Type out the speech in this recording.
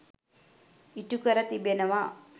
ඉටු කර තිබෙනවා.